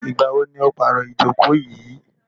Ìgbà wo ni o pàro ìjókò yìí?